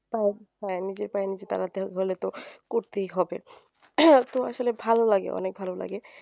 হ্যাঁ নিজের পায়ে নিজের দাঁড়াতে হলে তো করতেই হবে তো আসলে ভালো লাগে অনেক ভালো লাগে